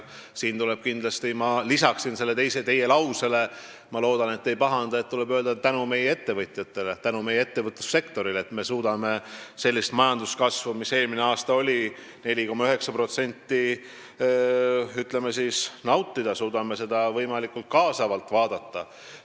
Siin tuleb kindlasti – ma lisan selle teie lausele, ma loodan, et te ei pahanda – öelda tänu meie ettevõtjatele, meie ettevõtlussektorile, et me saame sellist majanduskasvu, mis eelmine aasta oli 4,9%, ütleme siis, nautida, suudame seda võimalikult kaasavalt vaadata.